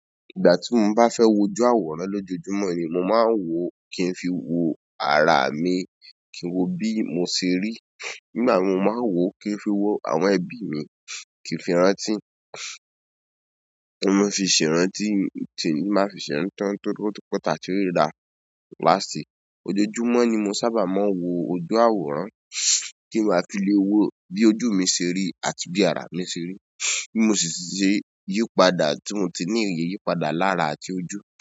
Ìgbà ti mo ba fẹ wo ojú àwòrán lojoojumọ ni mo maa n wo ki n fi wo ara mi ki n wo bi mo se ri. Nígbà wo máa wò ó kí n fi wò àwọn ẹbi mi kí n fi rántí, kí n máa fi ṣe rántí tí mo máa fi ṣe rántí tán tóri o ti pẹ ta tí ríra last. Ojoojúmọ́ ni mo sábà máa ń wo ojú àwòrán kí n ba fi lè wò bí ojú mi ṣe rí àti bí ara mi ṣe rí bi mo sì ṣe yípadà tí mo ti ní ìyè yípadà lára àti ojú.